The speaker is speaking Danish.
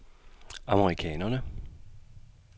amerikanerne